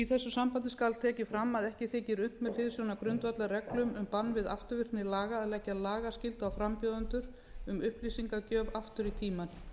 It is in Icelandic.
þessu sambandi skal tekið fram að ekki þykir unnt með hliðsjón af grundvallarreglum um bann við afturvirkni laga að leggja lagaskyldu á frambjóðendur um upplýsingagjöf aftur í tímann